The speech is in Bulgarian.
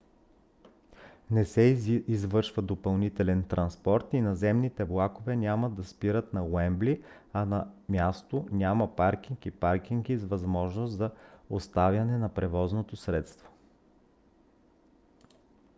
не се извършва допълнителен транспорт и наземните влакове няма да спират на уембли а на място няма паркинг и паркинги с възможност за оставяне на превозното средство